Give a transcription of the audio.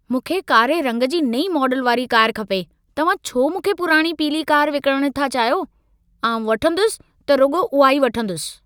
मूंखे कारे रंग जी नई मॉडल वारी कार खपे। तव्हां छो मूंखे पुराणी पीली कारि विकिणण था चाहियो? आउं वणंदुसि, त रुॻो उहा ई वणंदुसि।